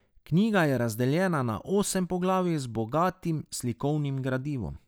Knjiga je razdeljena na osem poglavij z bogatim slikovnim gradivom.